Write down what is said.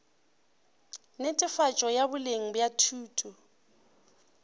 netefatšo ya boleng bja thuto